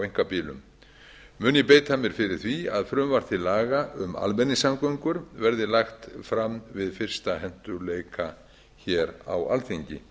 einkabílum mun ég beita mér fyrir því að frumvarp til laga um almenningssamgöngur verði lagt fram við fyrstu hentugleika hér á alþingi